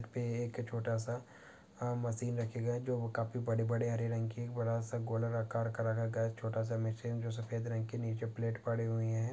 पे एक छोटा सा मसिन रखे गए है जो काफी बड़े बड़े हरे रंग के बड़ा सा गोल आकार का रखा गया छोटा सा मशीन जो सफेद रंग के नीचे जो प्लेट पड़े हुई है ।